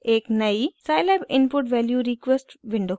एक नयी scilab input value request window खुलेगी